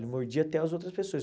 Ele mordia até as outras pessoas.